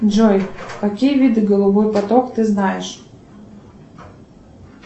джой какие виды голубой поток ты знаешь